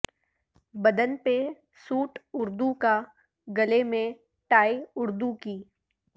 بدن پہ سوٹ اردو کا گلے میں ٹائی اردو کی